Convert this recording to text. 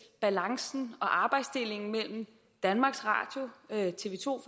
balancen og arbejdsdelingen mellem danmarks radio tv to